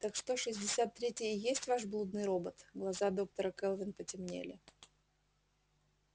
так что шестьдесят третий и есть ваш блудный робот глаза доктора кэлвин потемнели